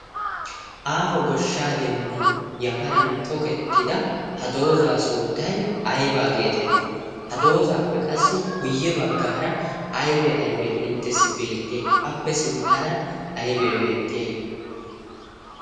Aaho goshshaa dembban yafaran tokettida ha doozaa sunttay aybaa geetettii? ha doozaappe qassi kuyye baggaara aybee aybee inttessi beexxiyay appe sinttaara aybee beettiyay?